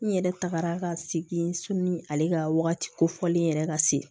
N yɛrɛ tagara ka segin sɔnni ale ka wagati kofɔlen yɛrɛ ka se